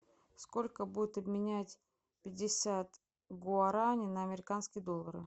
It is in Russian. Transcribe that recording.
сколько будет обменять пятьдесят гуарани на американские доллары